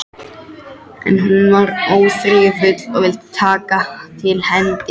En hún var óþreyjufull og vildi taka til hendinni.